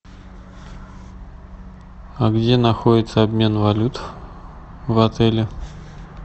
а где находится обмен валют в отеле